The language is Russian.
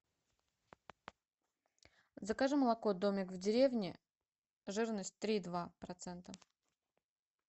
закажи молоко домик в деревне жирность три и два процента